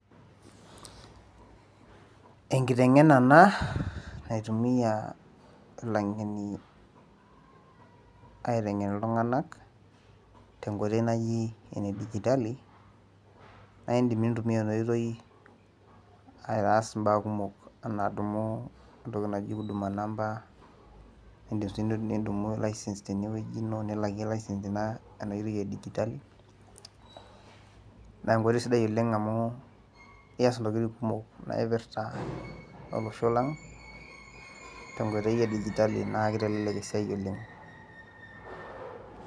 enkitengena ena naitumia ilangeni aitengen iltunganak te nkoitoi naji ene digitali, naa idim nintumia ena oitoi aitaas imbaa kumok, anaa adumu entoki naji huuduma number, nidim sii nidumu licence tene wueji ino, nilakie licence ino ena oitoi e digitali, naa enkoitoi sidai oleng amu ias intokitin kumok, naipirta olosho lang te nkoitoi e digitali naa kitelelek esiai oleng.